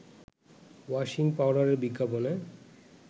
washing পাউডারের বিজ্ঞাপনে